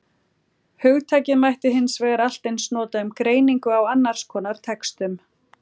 Hugtakið mætti hins vegar allt eins nota um greiningu á annars konar textum.